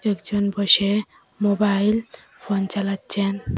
একজন বসে mobile phone চালাচ্ছেন।